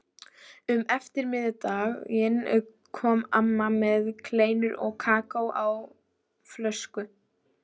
Um eftirmiðdaginn kom amma með kleinur og kakó á flösku.